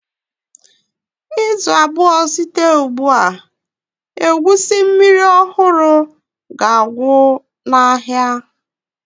Izu abụọ site ugbu a, egusi mmiri ọhụrụ ga-agwụ n'ahịa.